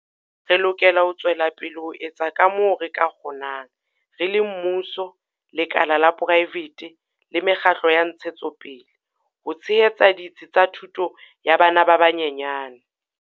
Re lokela ho tswela pele ho etsa kamoo re ka kgonang, re le mmuso, lekala la poraefete le me kgatlo ya ntshetsopele, ho tshehetsa ditsi tsa thuto ya bana ba banyenyane.